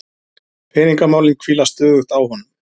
Peningamálin hvíla stöðugt á honum.